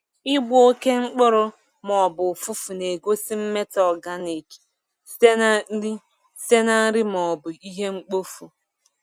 Ịgbọ oke mkpụrụ ma ọ bụ ụfụfụ na-egosi mmetọ organic site na nri site na nri ma ọ bụ ihe mkpofu.